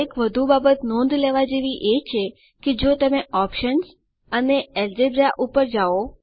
એક વધુ બાબત નોંધ લેવાની એ છે કે જો તમે ઓપ્શન્સ અને અલ્જેબ્રા પર જાઓ